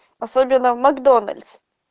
особенно в макдональдс